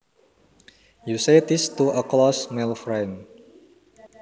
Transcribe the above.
You say this to a close male friend